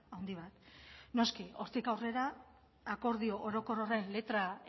handi bat noski hortik aurrera akordio orokor horren letra